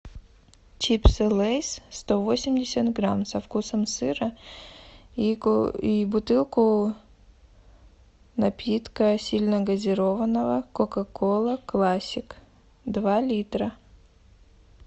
чипсы лейс сто восемьдесят грамм со вкусом сыра и бутылку напитка сильногазированного кока кола классик два литра